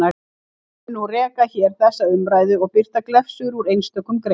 Ég mun nú rekja hér þessa umræðu og birta glefsur úr einstökum greinum.